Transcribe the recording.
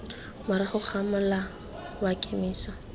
morago ga mola wa kemiso